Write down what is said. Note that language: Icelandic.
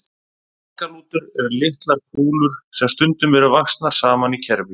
Baggalútar eru litlar kúlur sem stundum eru vaxnar saman í kerfi.